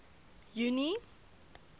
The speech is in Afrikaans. junie